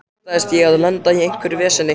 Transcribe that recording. Óttaðist ég að lenda í einhverju veseni?